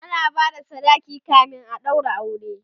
ana bada sadaki kamin a ɗaura aure